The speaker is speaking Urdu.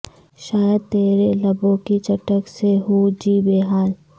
شاید ترے لبوں کی چٹک سے ہو جی بحال